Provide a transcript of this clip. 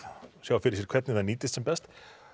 sjá fyrir því hvernig þeir nýtist sem best